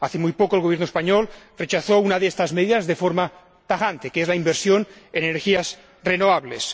Hace muy poco, el Gobierno español rechazó una de estas medidas de forma tajante, a saber, la inversión en energías renovables.